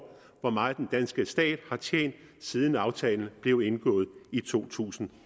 hvor meget den danske stat har tjent siden aftalen blev indgået i to tusind